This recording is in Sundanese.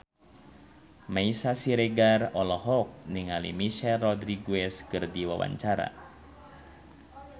Meisya Siregar olohok ningali Michelle Rodriguez keur diwawancara